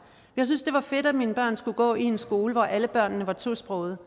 jeg synes det var fedt at mine børn skulle gå i en skole hvor alle børnene var tosprogede